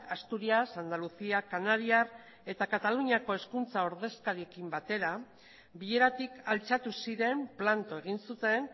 asturias andaluzia kanariar eta kataluniako hezkuntza ordezkariekin batera bileratik altxatu ziren planto egin zuten